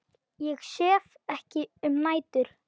Ég sef ekki um nætur.